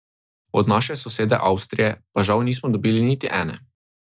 Od naše sosede Avstrije pa žal nismo dobili niti ene.